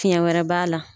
Fiɲɛ wɛrɛ b'a la